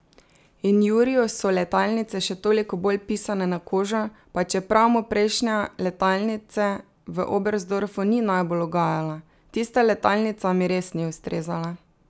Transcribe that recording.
In Juriju so letalnice še toliko bolj pisane na kožo, pa čeprav mu prejšnja letalnice v Oberstdorfu ni najbolj ugajala: 'Tista letalnica mi res ni ustrezala.